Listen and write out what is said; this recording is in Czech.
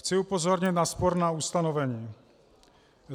Chci upozornit na sporná ustanovení.